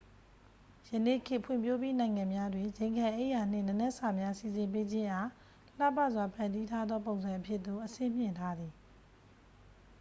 ယနေ့ခေတ် ဖွံ့ဖြိုးပြီးနိုင်ငံများတွင် ဇိမ်ခံအိပ်ယာနှင့် နံနက်စာများ စီစဉ်ပေးခြင်းအား လှပစွာဖန်တီးထားသော ပုံစံအဖြစ်သို့ အဆင့်မြှင့်ထားသည်